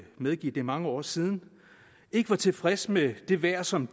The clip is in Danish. medgive at det er mange år siden ikke var tilfreds med det vejr som